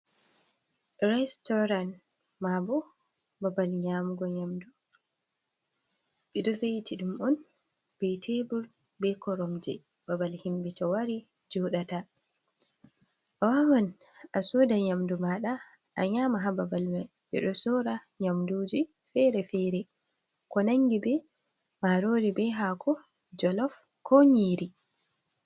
Restoran, maabo babal nyamugo nyamdu, ɓeɗon ve'itiɗum on be tebur be koromje, babal himbe to wari joɗata, a wawan a soda nyamdu maɗa a nyama ha babal mai, ɓedo sorra nyamduji fere-fere ko nangi be marori be hako jolaf ko nyiri.